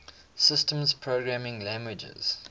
systems programming languages